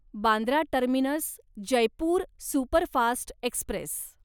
Bandra terminus Jaipur superfast Express